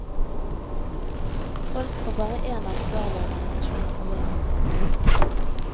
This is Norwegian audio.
Folk får bare én ansvarlig organisasjon å forholde seg til.